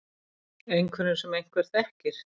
Einhverjum sem einhver þekkir.